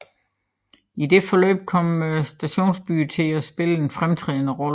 I dette forløb kom stationsbyerne til at spille en fremtrædende rolle